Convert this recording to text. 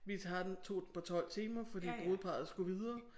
Vi tager den tog den på 12 timer fordi brudeparret skulle videre